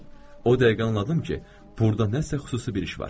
O dəqiqə anladım ki, burda nəsə xüsusi bir iş var.